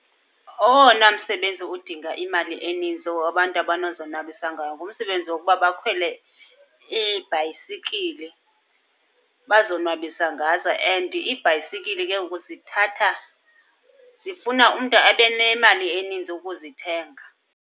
Owona msebenzi udinga imali eninzi wabantu abanozonwabisa ngawo, ngumsebenzi wokuba bakhwele iibhayisikili bazonwabisa ngazo. And iibhayisikili ke ngoku zithatha, zifuna umntu abe nemali eninzi ukuzithenga.